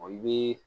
Ɔ i bɛ